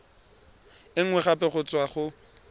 e nngwe gape go tswa